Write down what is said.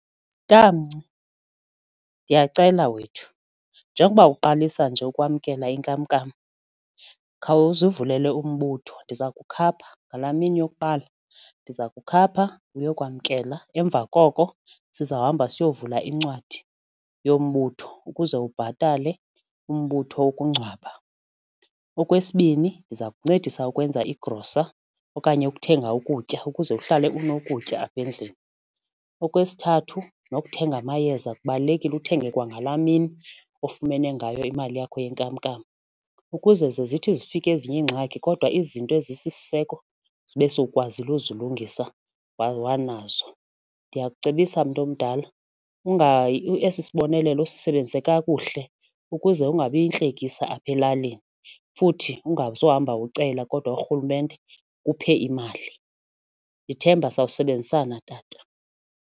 Tamnci, ndiyacela wethu njengokuba uqalisa nje ukwamkela inkamnkam khawuzivulele umbutho ndiza kukhapha ngalaa mini yokuqala ndiza kukhapha uyokwamkela emva koko sizawuhamba siyola incwadi yombutho ukuze ubhatale umbutho wokungcwaba. Okwesibini, ndiza kuncedisa ukwenza igrosa okanye ukuthenga ukutya ukuze uhlale unokutya apha endlini. Okwesithathu, nokuthenga amayeza kubalulekile uthenge kwangalaa mini ofumene ngayo imali yakho yenkamnkam ukuze ze zithi zifika ezinye iingxaki kodwa izinto ezisisiseko zibe sowukwazile ukuzilungisa wanazo. Ndiyakucebisa, mntomdala esi sibonelelo usisebenzise kakuhle ukuze ungabi yintlekisa apha elalini futhi ungazohamba ucela kodwa urhulumente akuphe imali. Ndithemba sakusebenzisana, tata.